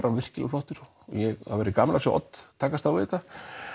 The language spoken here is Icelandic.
hann virkilega flottur það verður gaman að sjá Odd takast á við þetta